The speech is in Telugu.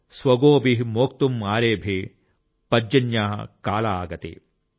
స్వగోభిః మోక్తుమ్ ఆరేభే పర్జన్యః కాల్ ఆగతే ||